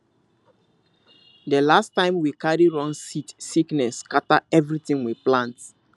that last time we carry wrong seed sickness scatter everything we plant